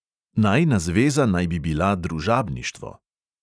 Najina zveza naj bi bila družabništvo.